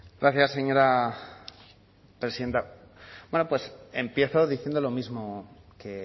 gracias señora presidenta empiezo diciendo lo mismo que he